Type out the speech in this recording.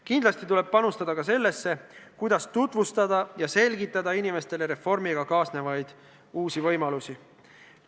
Kindlasti tuleb panustada ka sellesse, kuidas tutvustada ja selgitada inimestele reformiga kaasnevaid uusi võimalusi.